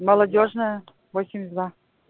молодёжная восемьдесят два